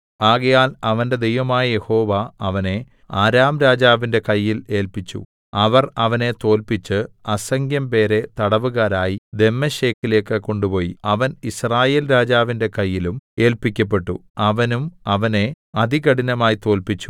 ആകയാൽ അവന്റെ ദൈവമായ യഹോവ അവനെ അരാം രാജാവിന്റെ കയ്യിൽ ഏല്പിച്ചു അവർ അവനെ തോല്പിച്ച് അസംഖ്യംപേരെ തടവുകാരായി ദമ്മേശെക്കിലേക്ക് കൊണ്ടുപോയി അവൻ യിസ്രായേൽ രാജാവിന്റെ കയ്യിലും ഏല്പിക്കപ്പെട്ടു അവനും അവനെ അതികഠിനമായി തോല്പിച്ചു